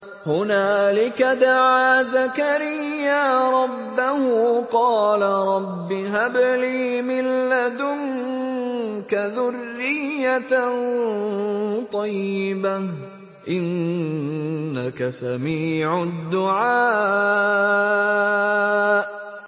هُنَالِكَ دَعَا زَكَرِيَّا رَبَّهُ ۖ قَالَ رَبِّ هَبْ لِي مِن لَّدُنكَ ذُرِّيَّةً طَيِّبَةً ۖ إِنَّكَ سَمِيعُ الدُّعَاءِ